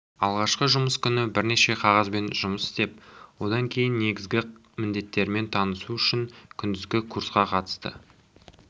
алғашқы жұмыс күні бірнеше қағазбен жұмыс істеп одан кейін негізгі міндеттерімен танысу үшін күндізгі курсқа қатысты